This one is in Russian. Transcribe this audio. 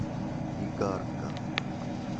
игарка